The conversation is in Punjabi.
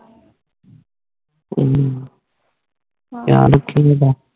ਹੱਮ ਖ਼ਯਾਲ ਰਾਖੀ ਓਢ